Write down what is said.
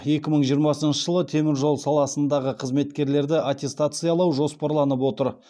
екі мың жиырмасыншы жылы теміржол саласындағы қызметкерлерді аттестациялау жоспарланып отыр